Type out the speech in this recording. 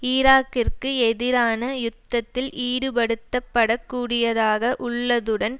ஈராக்கிற்கு எதிரான யுத்தத்தில் ஈடுபடுத்தப்படக்கூடியதாக உள்ளதுடன்